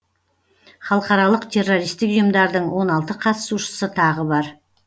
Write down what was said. халықаралық террористік ұйымдардың он алты қатысушысы тағы бар